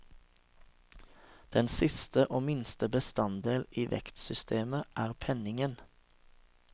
Den siste og minste bestanddel i vektsystemet er penningen.